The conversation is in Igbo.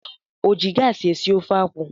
O ji gaasị esi ofe akwụ?